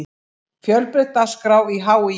Fjölbreytt dagskrá í HÍ